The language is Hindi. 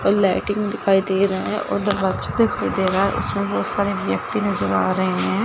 और लैट्रिन दिखाई दे रहे हैं और दरवाजा दिखाई दे रहा है उसमें बहुत सारे व्यक्ति नजर आ रहे हैं।